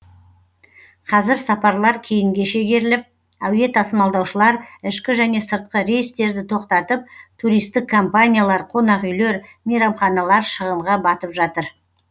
қазір сапарлар кейінге шегеріліп әуе тасымалдаушылар ішкі және сыртқы рейстерді тоқтатып туристік компаниялар қонақүйлер мейрамханалар шығынға батып жатыр